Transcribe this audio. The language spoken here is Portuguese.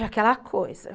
É aquela coisa.